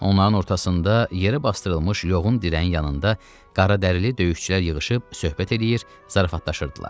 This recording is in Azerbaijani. Onların ortasında yerə basdırılmış yoğun dirəyin yanında qara dəlik döyüşçülər yığışıb söhbət eləyir, zarafatlaşırdılar.